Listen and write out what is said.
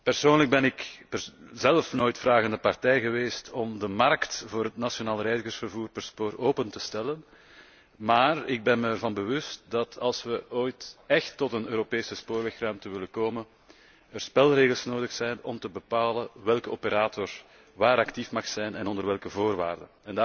Persoonlijk ben ik nooit vragende partij geweest om de markt voor het nationaal reizigersvervoer open te stellen, maar ik ben mij ervan bewust dat als wij ooit écht tot een Europese spoorwegruimte willen komen, er spelregels nodig zijn om te bepalen welke operator waar actief mag zijn en onder welke voorwaarden.